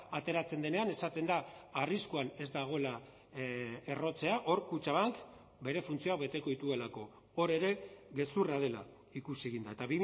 ateratzen denean esaten da arriskuan ez dagoela errotzea hor kutxabank bere funtzioak beteko dituelako hor ere gezurra dela ikusi egin da eta